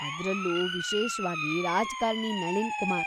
ಅದ್ರಲ್ಲೂ, ವಿಶೇಷ್ವಾಗಿ,‌ ರಾಜ್ಕಾರ್ಣಿ ನಳಿನ್‌ ಕುಮಾರ್.